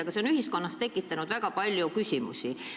Aga see on ühiskonnas tekitanud väga palju küsimusi.